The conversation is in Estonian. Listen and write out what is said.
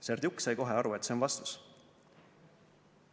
Serdjuk sai kohe aru, et see on vastus.